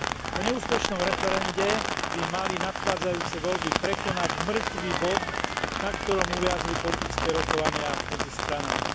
Po neúspešnom referende by mali nadchádzajúce voľby prekonať mŕtvy bod, na ktorom uviazli politické rokovania medzi stranami.